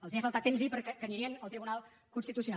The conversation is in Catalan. els ha faltat temps per dir que anirien al tribunal constitucional